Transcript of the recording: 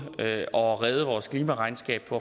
at redde vores klimaregnskab på